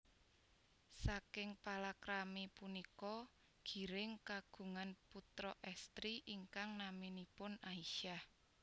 Saking palakrami punika Giring kagungan putra estri ingkang naminipun Aisyah